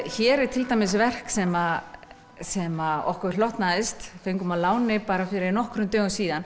hér er til dæmis verk sem sem okkur hlotnaðist fengum að láni fyrir nokkrum dögum síðan